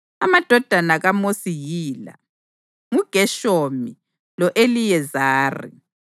Amadodana kaMosi yila: nguGeshomu lo-Eliyezari.